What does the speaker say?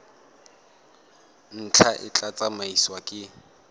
ntlha e tla tsamaisiwa ke